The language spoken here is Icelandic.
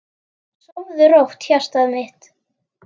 Sofðu rótt, hjartað mitt.